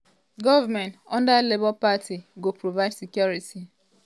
"goment under labour party go provide security. um